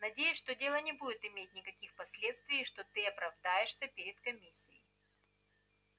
надеюсь что дело не будет иметь никаких последствий и что ты оправдаешься перед комиссией